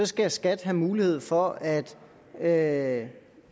skal skat have mulighed for at at